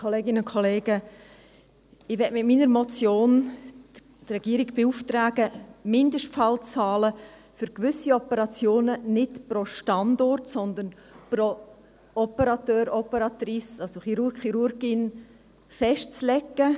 Ich möchte mit meiner Motion die Regierung beauftragen, die Mindestfallzahlen für gewisse Operationen nicht pro Standort, sondern pro Operateur/Operatrice, also Chirurg/Chirurgin, festzulegen.